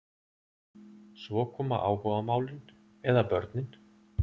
Svo koma áhugamálin eða börnin.